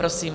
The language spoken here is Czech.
Prosím.